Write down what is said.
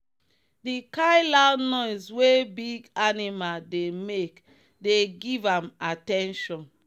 the kind loud noise wey big animal dey make dey give am at ten tion.